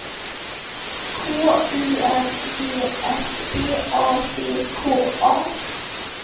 K U N G S B A C K A